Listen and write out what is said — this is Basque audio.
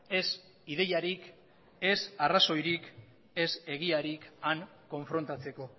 ez ideiarik ez arrazoirik ez egiarik han konfrontatzeko